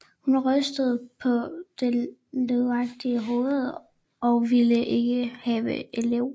Hun rystede paa det løveagtige Hoved og vilde ikke have Elev